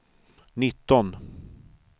nitton